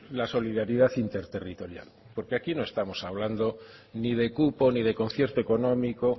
la solidaridad interterritorial porque aquí no estamos hablando ni de cupo ni de concierto económico